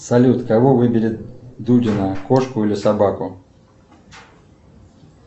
салют кого выберет дудина кошку или собаку